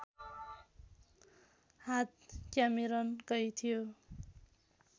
हात क्यामेरनकै थियो